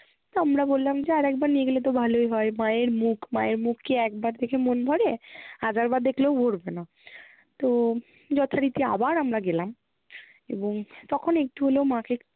তো আমরা বললাম যে আরেকবার নিয়ে গেলে তো ভালোই হয়। মায়ের মুখ! মায়ের মুখ কি একবার দেখে মন ভরে? হাজারবার দেখলেও ভরবে না। তো যথারীতি আবার আমরা গেলাম এবং তখন একটু হলেও মা কে